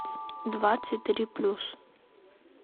двадцать три плюс